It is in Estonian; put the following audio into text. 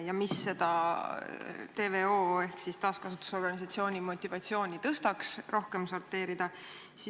Ja mis võiks tõsta TVO ehk siis taaskasutuse organisatsiooni motivatsiooni rohkem sorteerida?